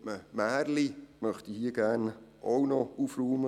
Und mit einem Märchen möchte ich hier gerne auch noch aufräumen;